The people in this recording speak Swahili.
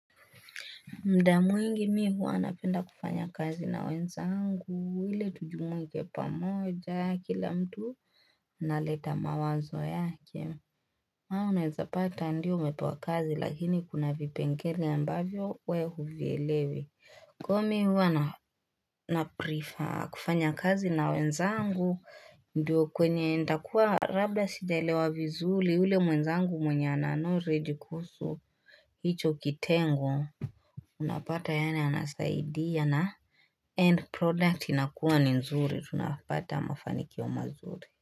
Muda mwingi mi huwa napenda kufanya kazi na wenzangu, ili tujumuike pamoja kila mtu, analeta mawazo yake. Ama unaweza pata ndio umepewa kazi lakini kuna vipengele ambavyo wewe huvielewi. Kwa hivyo mi huwa naprefer kufanya kazi na wenzangu, ndio kwenye nitakuwa labda sijaelewa vizuri, ule mwenzangu mwenye anaelewa already kuhusu, hicho kitengo, Unapata ye anasaidia na end product inakuwa ni nzuri tunapata mafanikio mazuri.